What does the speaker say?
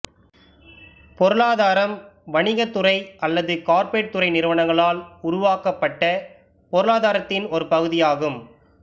பொருளாதாரம் வணிகத் துறை அல்லது கார்ப்பரேட் துறை நிறுவனங்களால் உருவாக்கப்பட்ட பொருளாதாரத்தின் ஒரு பகுதியாகும்